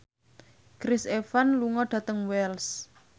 Chris Evans lunga dhateng Wells